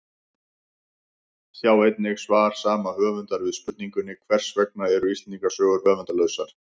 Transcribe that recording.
Sjá einnig svar sama höfundar við spurningunni Hvers vegna eru Íslendingasögur höfundarlausar?